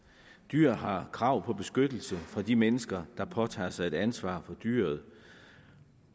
dyr har krav på beskyttelse fra de mennesker der påtager sig et ansvar for dyr